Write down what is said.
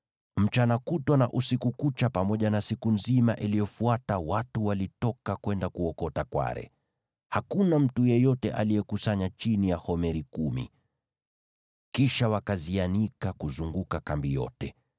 Mchana kutwa na usiku kucha pamoja na siku nzima iliyofuata watu walitoka kwenda kuokota kware. Hakuna mtu yeyote aliyekusanya chini ya homeri kumi. Kisha wakazianika kuzunguka kambi yote.